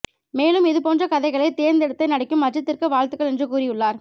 மேலும் இது போன்ற கதைகளை தேர்ந்தெடுத்து நடிக்கும் அஜித்திற்கு வாழ்த்துகள் என்று கூறியுள்ளார்